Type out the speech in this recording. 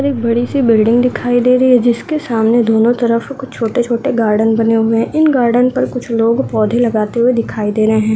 और एक बड़ी सी बिल्डिंग्स दिखाई दे रही है जिसके सामने दोनों तरफ कुछ छोटे-छोटे गार्डन बने हुए हैं इन गार्डन पर कुछ लोग पौधे लगाते हुए दिखाई दे रहें हैं।